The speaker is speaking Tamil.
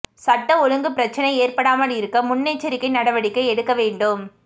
சட்டம் ஒழுங்கு பிரச்சினை ஏற்படாமல் இருக்க முன்னெச்சரிக்கை நடவடிக்கை எடுக்க வேண்டும்